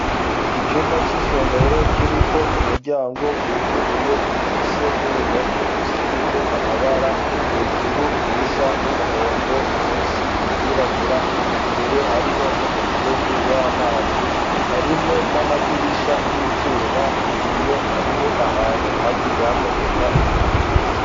Icumba c'isomero kiri ko umuryango wuguruye gifise n'uruhome rusize amabara hejuru irisa n'umuhondo musi iryirabura, imbere hariho n'umufurege w'amazi harimwo n'amadirisha y'ivyuma ku biyo hariho ahantu hagiye hameneka ibiyo.